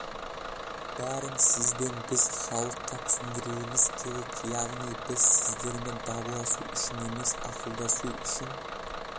бәрін сіз бен біз халыққа түсіндіруіміз керек яғни біз сіздермен дауласу үшін емес ақылдасу үшін